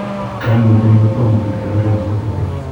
Koimutioni kotam kindien oret neketukei.